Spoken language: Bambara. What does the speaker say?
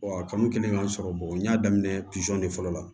a kanu kɛlen ka n sɔrɔ n y'a daminɛ de fɔlɔ la